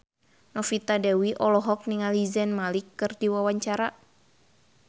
Novita Dewi olohok ningali Zayn Malik keur diwawancara